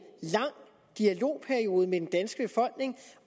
lang dialogperiode med den danske befolkning